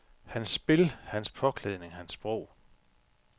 Hans spil, hans påklædning, hans sprog.